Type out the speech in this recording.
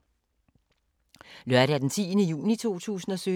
Lørdag d. 10. juni 2017